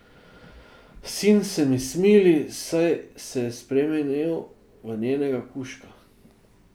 Sin se mi smili, saj se je spremenil v njenega kužka.